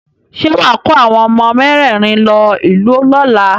Ṣé wà á kó àwọn ọmọ mẹ́rẹ̀rin lọ ìlú lọ́la?